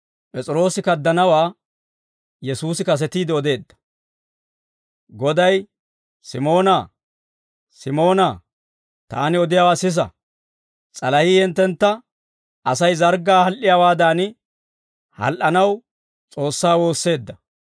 Goday, «Simoonaa, Simoonaa, taani odiyaawaa sisa; s'alahii hinttentta Asay zarggaa hal"iyaawaadan, hal"anaw S'oossaa woosseedda.